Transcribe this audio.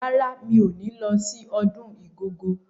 Rárá, mi ò ní lọ sí ọdún Igogo.